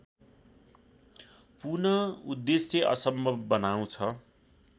पुनःउद्देश्य असम्भव बनाउँछ